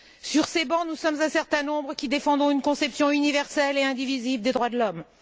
Sur ces bancs, nous sommes un certain nombre qui défendons une conception universelle et indivisible des droits de l'homme.